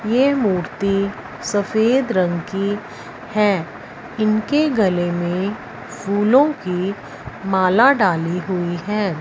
यह मूर्ति सफेद रंग की है इनके गले में फूलों की माला डाली हुई है।